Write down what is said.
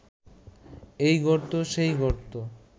এই গর্ত সেই গর্ত